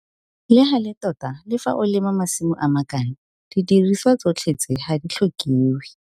Le gale tota le fa o lema masimo a makana didiriswa tsotlhe tse ga di tlhokiwe.